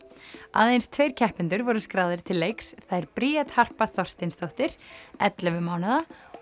aðeins tveir keppendur voru skráðir til leiks þær Bríet Harpa Þorsteinsdóttir ellefu mánaða